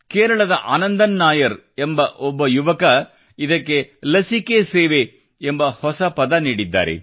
ಕೇರಳದ ಆನಂದನ್ ನಾಯರ್ ಎಂಬ ಒಬ್ಬ ಯುವಕ ಇದಕ್ಕೆ ಲಸಿಕೆ ಸೇವೆ ಎಂಬ ಹೊಸ ಪದ ನೀಡಿದ್ದಾರೆ